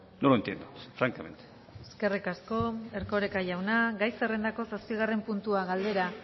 no lo entiendo francamente eskerrik asko erkoreka jauna gai zerrendako zazpigarren puntua galdera